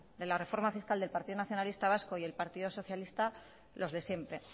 de la reforma fiscal del partido nacionalista vasco y el partido socialista los de siempre